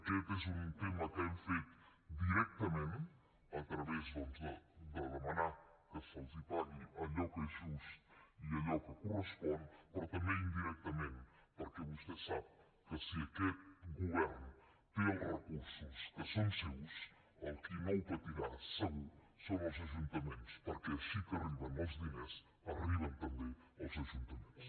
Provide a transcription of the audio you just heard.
aquest és un tema que hem fet directament a través doncs de demanar que se’ls pagui allò que és just i allò que correspon però també indirectament perquè vostè sap que si aquest govern té els recursos que són seus el qui no patirà segur són els ajuntaments perquè així que arriben els diners arriben també als ajuntaments